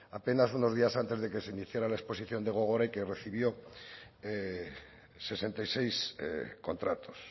apenas unos días antes de que se iniciara la exposición de gogora y que recibió sesenta y seis contratos